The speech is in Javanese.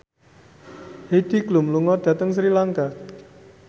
Heidi Klum lunga dhateng Sri Lanka